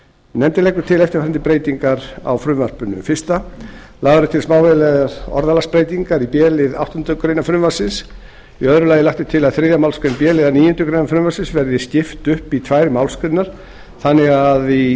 nefndin leggur til eftirfarandi breytingar á frumvarpinu fyrstu lagðar eru til smávægilegar orðalagsbreytingar í b lið áttundu greinar frumvarpsins annars lagt er til að þriðju málsgrein b liðar níundu grein frumvarpsins verði skipt upp í tvær málsgreinar þannig að